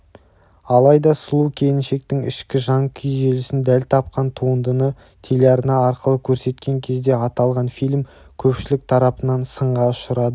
алайда сұлу келіншектің ішкі жан күйзелісін дәл тапқан туындыны телеарна арқылы көрсеткен кезде аталған фильм көпшілік тарапынан сынға ұшырады